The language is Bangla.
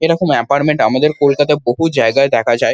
এরকম এপার্টমেন্ট আমাদের কলকাতায় বহু জায়গায় দেখা যায় ।